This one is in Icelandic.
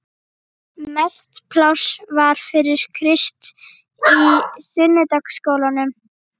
Mest pláss var fyrir Krist í sunnudagaskólanum.